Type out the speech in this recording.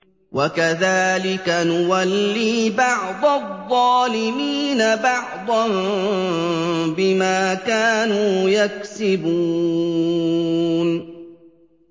وَكَذَٰلِكَ نُوَلِّي بَعْضَ الظَّالِمِينَ بَعْضًا بِمَا كَانُوا يَكْسِبُونَ